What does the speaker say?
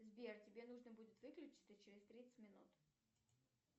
сбер тебе нужно будет выключиться через тридцать минут